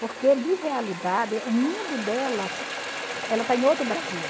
Porque, de realidade, o mundo delas ela está em outro Brasil.